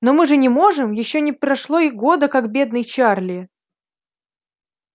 но мы же не можем ещё не прошло и года как бедный чарли